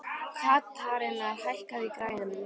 Katharina, hækkaðu í græjunum.